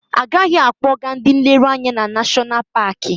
Agaghị akpọ ga ndị nlereanya na Nashọnal Paki.